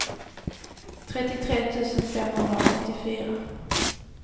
trettiotre tusen femhundraåttiofyra